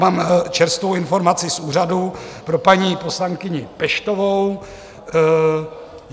Mám čerstvou informaci z úřadu pro paní poslankyni Peštovou.